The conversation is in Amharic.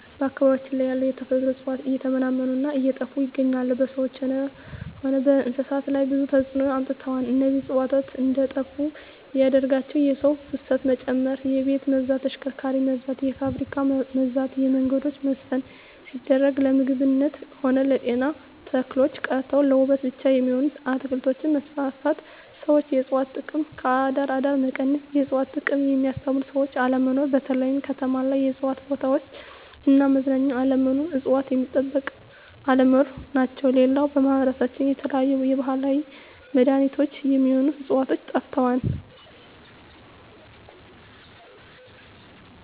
በአካባቢያችን ያሉ የተፈጥሮ እጽዋት እየተመናመኑ እና እየጠፋ ይገኛሉ በሰዎች ሆነ በእንስሳት ላይ ብዙ ተጽዕኖ አምጥተዋል እነዚህ እጽዋት እንዴጠፋ ያደረጋቸው የሰው ፋሰት መጨመር የቤት መብዛት የተሽከርካሪ መብዛት የፋብሪካ መብዛት የመንገዶች መስፍን ሲደረግ ለምግብነት ሆነ ለጤና ተክሎች ቀርተው ለዉበት ብቻ የሚሆኑ አትክልቶች መስፋፋት ሠዎች የእጽዋት ጥቅም ከአደር አደር መቀነስ የእጽዋት ጥቅምን የሚያስተምሩ ሰዎች አለመኖር በተለይ ከተማ ላይ የእጽዋት ቦታዎች እና መዝናኛ አለመኖር እጽዋት ሚጠበቅ አለመኖር ናቸው ሌላው በማህበረሰባችን የተለያዩ የባህላዊ መዳኔቾች ሚሆኑ ህጽዋቾች ጠፍተዋል